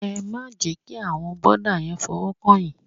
Ẹ má jẹ́ kí àwọn bọ̀dá yẹn fọwọ́ kàn yín.